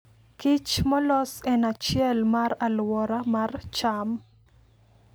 Kich molos en achiel mar aluora mar cham.